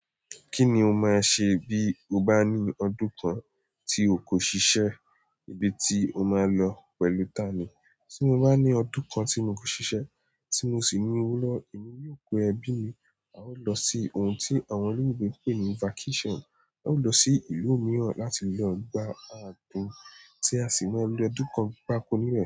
Kí ni o máa ṣẹ bí ò bá ní ọdún kan tí ò kò ṣiṣẹ́, ibi tí ò máà lọ pẹ̀lú ta ni? Tí mò bá ní ọdún kan tí n kò ṣiṣẹ́, tí mò sì ní òwó lọwọ, èmi yóò kó ẹbí mi, à ó lọ sí òhùn tí àwọn òlòyìnbò ń pè ní vacation. A ó lọ sí ìlú mìíràn láti lọ gba àgbòn, tí a sì máa lò ọdún kan pápọ nbẹ.